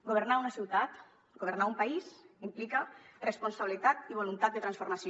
governar una ciutat governar un país implica responsabilitat i voluntat de transformació